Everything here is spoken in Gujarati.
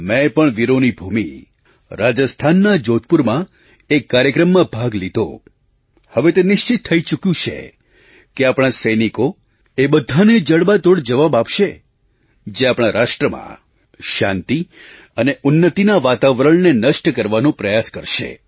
મેં પણ વીરોની ભૂમિ રાજસ્થાનના જોધપુરમાં એક કાર્યક્રમમાં ભાગ લીધો હવે તે નિશ્ચિત થઈ ચૂક્યું છે કે આપણા સૈનિકો એ બધાને જડબાતોડ જવાબ આપશે જે આપણા રાષ્ટ્રમાં શાંતિ અને ઉન્નતિના વાતાવરણને નષ્ટ કરવાનો પ્રયાસ કરશે